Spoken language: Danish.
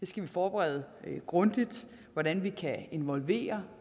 skal vi forberede grundigt hvordan vi kan involvere